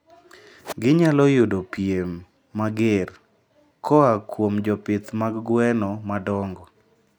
Ginyalo yudo piem mager koa kuom jopith mag gwen madongo.